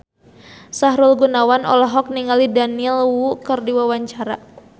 Sahrul Gunawan olohok ningali Daniel Wu keur diwawancara